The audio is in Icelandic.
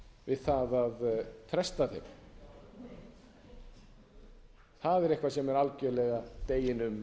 við það að fresta þeim það er eitthvað sem er algjörlega deginum